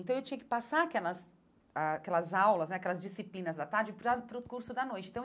Então, eu tinha que passar aquelas ah aquelas aulas né, aquelas disciplinas da tarde para para o curso da noite.